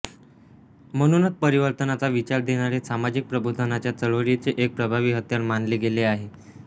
म्हणूनच परिवर्तनाचा विचार देणारे सामाजिक प्रबोधनाच्या चळवळीचे एक प्रभावी हत्यार मानले गेले आहे